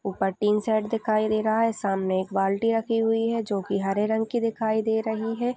ऊपर tin shed दिखाई दे रहा है सामने एक बाल्टी रखी हुई है जो की हरे रंग की दिखाई दे रही है।